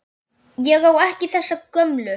Ég á ekki þessa gömlu.